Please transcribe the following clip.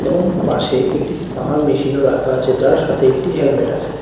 এবং পাশে একটি স্পা মেশিনও রাখা আছে যার সাথে একটি হেলমেট আছে।